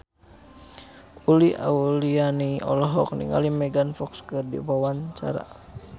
Uli Auliani olohok ningali Megan Fox keur diwawancara